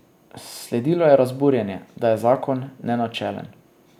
Sledilo je razburjenje, da je zakon nenačelen.